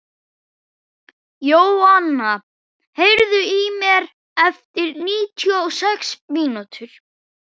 Jóanna, heyrðu í mér eftir níutíu og sex mínútur.